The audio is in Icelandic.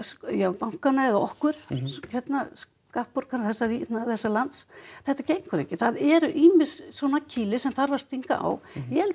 bankana já eða okkur skattborgara þessa lands þetta gengur ekki það eru ýmis kýli sem þarf að stinga á ég held að